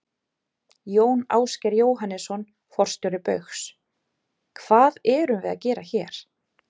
Jón Ásgeir Jóhannesson, forstjóri Baugs: Hvað erum við að gera hér?